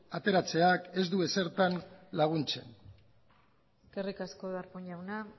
ateratzeak ez du ezertan laguntzen eskerrik asko darpón jauna